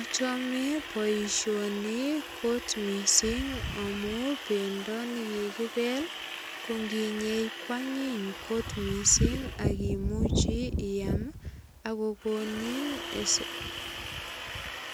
Achame boisioni kot mising amu bendo ne kikibel ko nginyei kwanyiny kot mising ak imuchi iyam ak kokonin